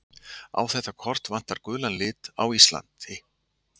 á þetta kort vantar gulan lit á íslandi